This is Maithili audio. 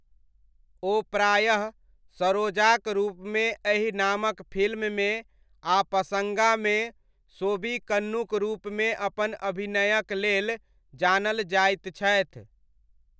ओ प्रायः सरोजाक रूपमे एहि नामक फिल्ममे आ पसङ्गामे, सोबिकन्नुक रूपमे अपन अभिनयक लेल जानल जाइत छथि।